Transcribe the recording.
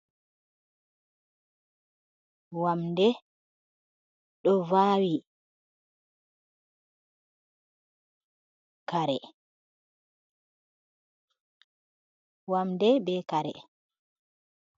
Wamde ɗo vawi wamde be kare